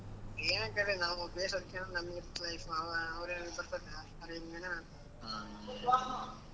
ಏನ್ ಅಂತ ಐತಿ ನಾವು ಬೇಷ್ ಅವ್ರು ಯೇನಾದ್ರು ಅನ್ಕೊಳ್ಳಿ .